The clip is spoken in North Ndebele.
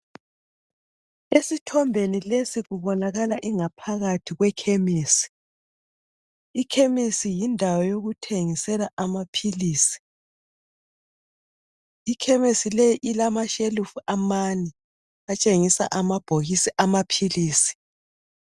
Esithombeni lesi kubonakala ingaphakathi kwekhemisi. Ikhemisi yindawo yokuthengisela amaphilisi. Ikhemisi le ilamashelufu amane atshengisa amabhokisi amaphilisi.